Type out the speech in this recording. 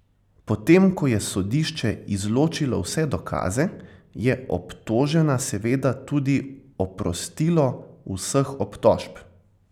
Potem ko je sodišče izločilo vse dokaze, je obtožena seveda tudi oprostilo vseh obtožb.